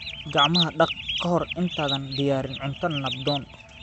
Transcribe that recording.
Gacmaha dhaq ka hor intaadan diyaarin cunto nabdoon.